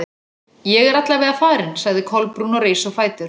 Ég er alla vega farin- sagði Kolbrún og reis á fætur.